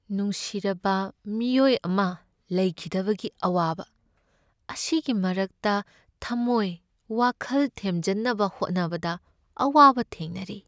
ꯅꯨꯡꯁꯤꯔꯕ ꯃꯤꯑꯣꯏ ꯑꯃ ꯂꯩꯈꯤꯗꯕꯒꯤ ꯑꯋꯥꯕ ꯑꯁꯤꯒꯤ ꯃꯔꯛꯇ ꯊꯝꯃꯣꯏ ꯋꯥꯈꯜ ꯊꯦꯝꯖꯟꯅꯕ ꯍꯣꯠꯅꯕꯗ ꯑꯋꯥꯕ ꯊꯦꯡꯅꯔꯤ꯫